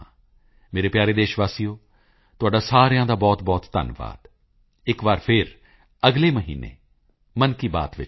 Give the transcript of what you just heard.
ਮੇਰੇ ਪਿਆਰੇ ਦੇਸ਼ ਵਾਸੀਓ ਤੁਹਾਡਾ ਸਾਰਿਆਂ ਦਾ ਬਹੁਤਬਹੁਤ ਧੰਨਵਾਦ ਇੱਕ ਵਾਰੀ ਫੇਰ ਅਗਲੇ ਮਹੀਨੇ ਮਨ ਕੀ ਬਾਤ ਚ ਮਿਲਾਂਗੇ